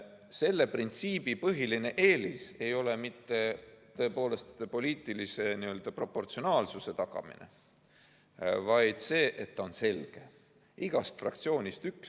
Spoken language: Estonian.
Selle printsiibi põhiline eelis ei ole mitte poliitilise proportsionaalsuse tagamine, vaid see, et ta on selge: igast fraktsioonist üks.